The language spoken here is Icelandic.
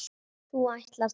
þú ætlar þó ekki.